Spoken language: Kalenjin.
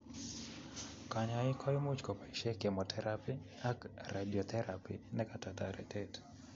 Kanyoik koimuch kopaishe chemotherapy ak radiotherapy nekata toretet